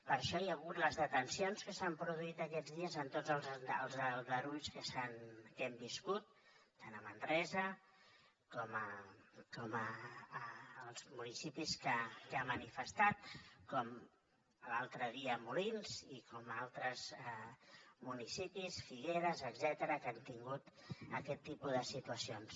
per això hi ha hagut les detencions que s’han produït aquests dies en tots els aldarulls que hem viscut tant a manresa com als municipis que ha manifestat com l’altre dia a molins i com altres municipis figueres etcètera que han tingut aquest tipus de situacions